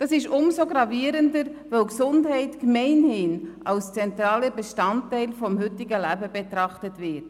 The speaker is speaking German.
Dies ist umso gravierender, als die Gesundheit gemeinhin als zentraler Bestandteil des heutigen Lebens betrachtet wird.